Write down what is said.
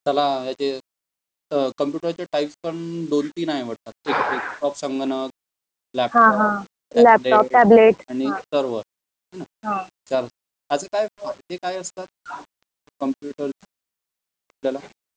त्याला जे अ कंप्यूटर चे टाइप पण दोन तीन आहे वाटतात, एक संगणक, लैपटॉप, टेबलेट आणि एक हाय न, तर अस काय ते काय असतात कंप्यूटर आपल्याला